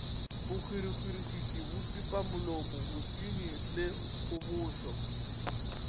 bohwirihwitši pipamolomo bosenyi le kgobošo